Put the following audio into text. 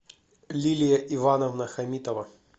лилия ивановна хамитова